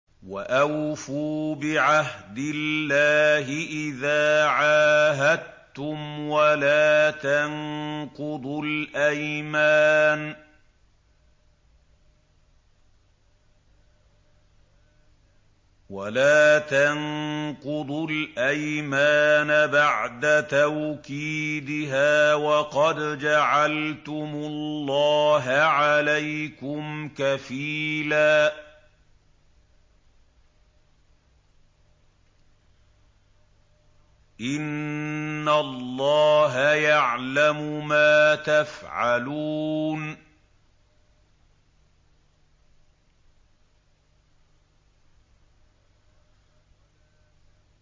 وَأَوْفُوا بِعَهْدِ اللَّهِ إِذَا عَاهَدتُّمْ وَلَا تَنقُضُوا الْأَيْمَانَ بَعْدَ تَوْكِيدِهَا وَقَدْ جَعَلْتُمُ اللَّهَ عَلَيْكُمْ كَفِيلًا ۚ إِنَّ اللَّهَ يَعْلَمُ مَا تَفْعَلُونَ